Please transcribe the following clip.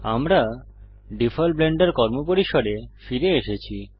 আমরা default Blender কর্মপরিসরে ফিরে এসেছি